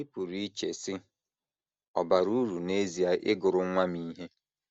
Ị pụrụ iche, sị, ‘ Ọ̀ bara uru n’ezie ịgụrụ nwa m ihe? ’